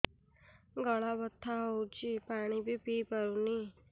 ଗଳା ବଥା ହଉଚି ପାଣି ବି ପିଇ ପାରୁନି